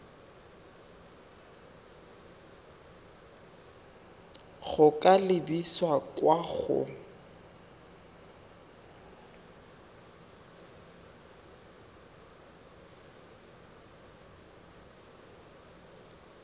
go ka lebisa kwa go